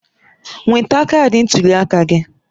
Nweta kaadị ntuli aka gị